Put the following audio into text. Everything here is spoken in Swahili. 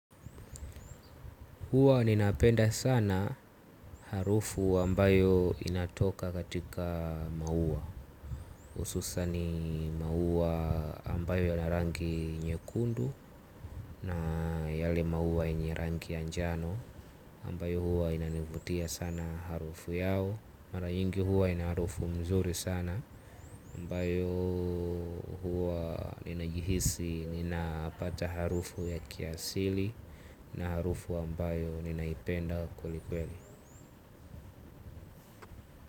Huwa ninapenda sana harufu ambayo inatoka katika maua ususa ni maua ambayo yana rangi nyekundu na yale maua yenye rangi ya njano ambayo huwa inanivutia sana harufu yao. Mara nyingi huwa inaharufu mzuri sana ambayo huwa ninajihisi ninapata harufu ya kiasili na harufu ambayo ninaipenda kweli kweli.